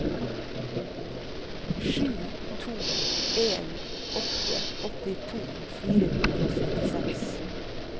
sju to en åtte åttito fire hundre og syttiseks